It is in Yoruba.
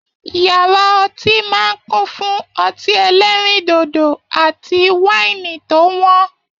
Yàrá ọtí máa n kún fún ọtí ẹ̀lẹ̀rindodo àti waini eo wọn.